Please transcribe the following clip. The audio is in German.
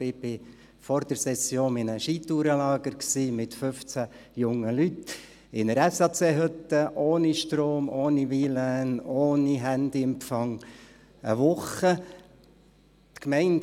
ich war vor der Session in einem Skitourenlager mit fünfzehn jungen Leuten in einer SAC-Hütte, ohne Strom, ohne WLAN, ohne Handyempfang, eine Woche lang.